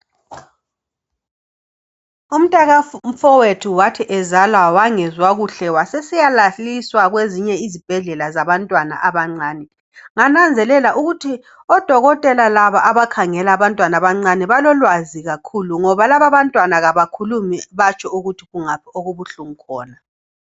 Umntaka mfowethu wathi ezalwa wangezwa kuhle wasesiyalaliswa kwezinye izibhedlela zabantwana abancane ngananzelela ukuthi odokotela laba abakhangela abantwana abancane balolwazi kakhulu ngoba laba abantwana abakhulumi batsho ukuthi kungaphi okubuhlungu khona.